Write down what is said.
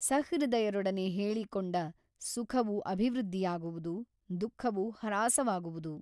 ಸಹೃದಯರೊಡನೆ ಹೇಳಿಕೊಂಡ ಸುಖವು ಅಭಿವೃದ್ಧಿಯಾಗುವುದು ದುಃಖವು ಹ್ರಾಸವಾಗುವುದು.